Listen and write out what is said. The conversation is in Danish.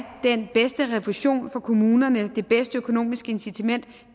den bedste refusion for kommunerne det bedste økonomiske incitament